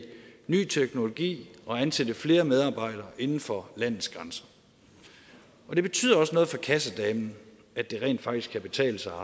ny teknologi og ansætte flere medarbejdere inden for landets grænser det betyder også noget for kassedamen at det rent faktisk kan betale sig